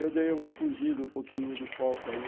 Eu dei uma fugida um pouquinho do foco aí.